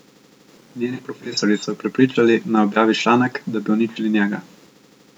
Njeni profesorji so jo prepričali, naj objavi članek, da bi uničili njega.